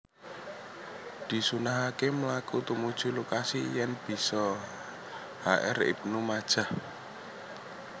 Disunnahaké mlaku tumuju lokasi yèn bisa H R ibnu majah